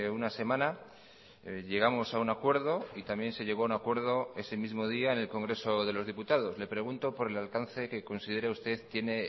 una semana llegamos a un acuerdo y también se llegó a un acuerdo ese mismo día en el congreso de los diputados le pregunto por el alcance que considera usted tiene